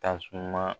Tasuma